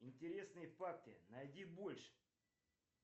интересные факты найди больше